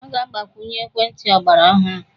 A ga-agbakwunye ekwentị ọgbara ọhụrụ.